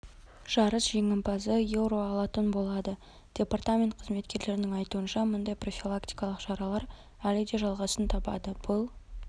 жарыс жеңімпазы еуро алатын болады департамент қызметкерлерінің айтуынша мұндай профилактикалық шаралар әлі де жалғасын табады бұл